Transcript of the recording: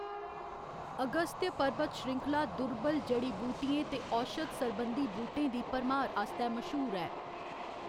अगस्त्य पर्बत श्रृंखला दुर्लभ जड़ी बूटियें ते औशध सरबंधी बूह्‌‌टें दी भरमार आस्तै मश्हूर ऐ।